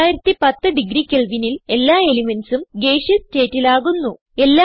6010 degree Kelvinൽ എല്ലാ elementsഉം ഗേസിയസ് സ്റ്റേറ്റിൽ ആകുന്നു